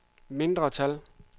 mindretal